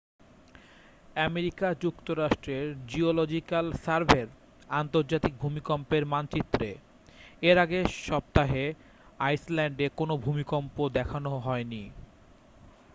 America যুক্তরাষ্ট্রের geological সার্ভের আন্তর্জাতিক ভূমিকম্পের মানচিত্রে এর আগের সপ্তাহে আইসল্যান্ডে কোনও ভূমিকম্প দেখানো হয়নি